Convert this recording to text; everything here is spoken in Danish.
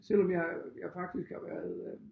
Selvom jeg jeg faktisk har været øh